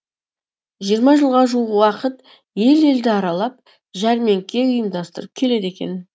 жиырма жылға жуық уақыт ел елді аралап жәрмеңке ұйымдастырып келеді екен